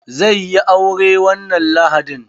Zai yi aure wannan lahadin.